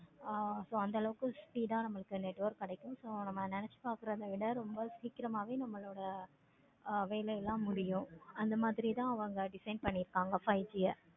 ஆஹ் so அந்த அளவுக்கு speed ஆஹ் network கிடைக்கும். நம்ம நினச்சு பார்க்கிறதா விட ரொம்ப சீக்கிரமாவே நம்மளோடு வேலை எல்லாமே முடியும். இத அவங்க design பண்ணிருக்காங்க five G யா